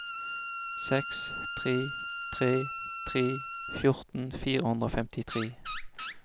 seks tre tre tre fjorten fire hundre og femtitre